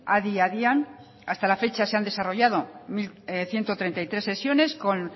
adi adian hasta la fecha se han desarrollado ciento treinta y tres sesiones con